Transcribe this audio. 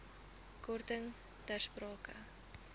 korting ter sprake